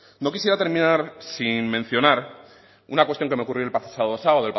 no quisiera terminar sin mencionar una cuestión que me ocurrió el pasado sábado